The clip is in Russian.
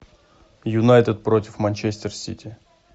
юнайтед против манчестер сити